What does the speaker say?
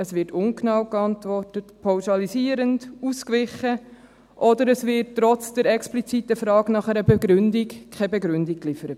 Es wird ungenau geantwortet, pauschalisierend, ausgewichen, oder es wird trotz der expliziten Frage nach einer Begründung für etwas keine Begründung geliefert.